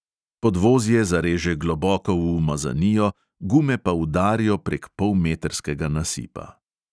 Podvozje zareže globoko v umazanijo, gume pa udarijo prek polmetrskega nasipa.